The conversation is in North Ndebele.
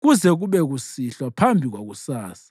kuze kube kusihlwa phambi kwakusasa.